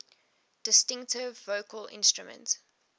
distinctive vocal instrument